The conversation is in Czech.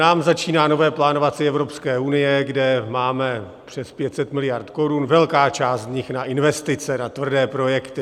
Nám začíná nové plánovací Evropské unie, kde máme přes 500 miliard korun, velká část z nich na investice, na tvrdé projekty.